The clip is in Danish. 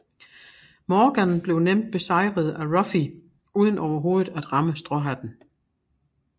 Morgan bliver nemt besejret af Ruffy uden overhovedet at ramme stråhatten